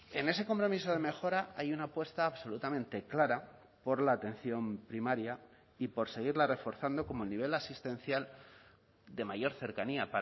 en ese compromiso de mejora hay una apuesta absolutamente clara por la atención primaria y por seguirla reforzando como el nivel asistencial de mayor cercanía